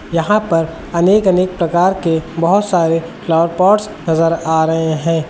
यहां पर अनेक अनेक प्रकार के बहोत से फ्लावर पॉट्स नजर आ रहे हैं।